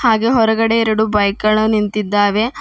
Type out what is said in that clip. ಹಾಗೆ ಹೊರಗಡೆ ಎರಡು ಬೈಕ್ ಗಳು ನಿಂತಿದ್ದಾವೆ.